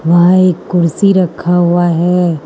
वहां एक कुर्सी रखा हुआ है।